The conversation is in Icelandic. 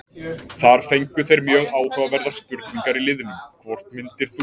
Þar fengu þeir mjög áhugaverðar spurningar í liðnum: Hvort myndir þú?